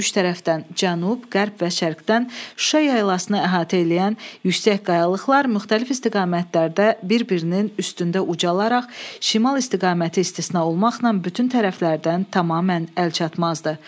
Üç tərəfdən cənub, qərb və şərqdən Şuşa yaylasını əhatə eləyən yüksək qayalıqlar müxtəlif istiqamətlərdə bir-birinin üstündə ucalaraq şimal istiqaməti istisna olmaqla bütün tərəflərdən tamamilə əlçatmazdır.